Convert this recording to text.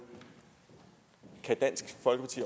kan dansk folkeparti